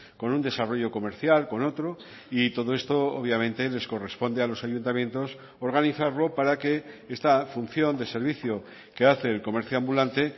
con un desarrollo comercial con otro y todo esto obviamente les corresponde a los ayuntamientos organizarlo para que esta función de servicio que hace el comercio ambulante